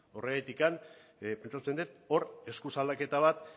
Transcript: horregatik pentsatzen dut hor eskuz aldaketa bat